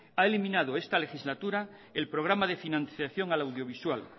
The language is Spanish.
ha eliminado esta legislatura el programa de financiación al audiovisual